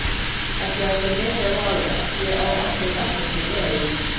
Ætli það sé mikið að vaða, ég á ákkúrat ekkert til að vera í.